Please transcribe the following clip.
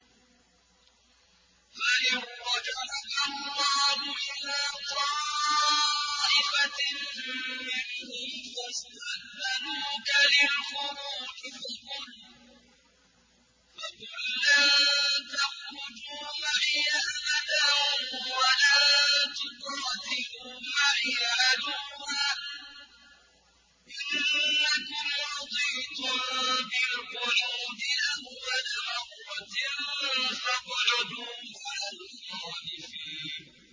فَإِن رَّجَعَكَ اللَّهُ إِلَىٰ طَائِفَةٍ مِّنْهُمْ فَاسْتَأْذَنُوكَ لِلْخُرُوجِ فَقُل لَّن تَخْرُجُوا مَعِيَ أَبَدًا وَلَن تُقَاتِلُوا مَعِيَ عَدُوًّا ۖ إِنَّكُمْ رَضِيتُم بِالْقُعُودِ أَوَّلَ مَرَّةٍ فَاقْعُدُوا مَعَ الْخَالِفِينَ